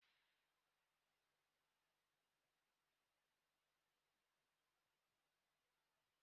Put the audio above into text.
Akwụkwọ gwam gwam gwam ya a n'ogo na-ahịa kemgbe afọ gara-aga.